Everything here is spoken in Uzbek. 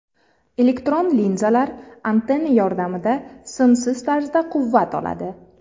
Elektron linzalar antenna yordamida simsiz tarzda quvvat oladi.